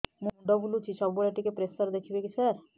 ମୁଣ୍ଡ ବୁଲୁଚି ସବୁବେଳେ ଟିକେ ପ୍ରେସର ଦେଖିବେ କି ସାର